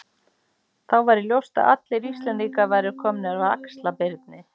Þá væri ljóst að allir Íslendingar væru komnir af Axlar-Birni.